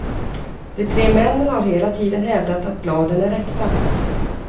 De tre männen har hela tiden hävdat att bladen är äkta.